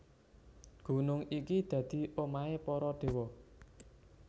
Gunung iki dadi omahé para déwa